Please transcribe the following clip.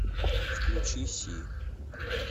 включи си